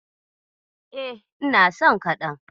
E, ina son kaɗan.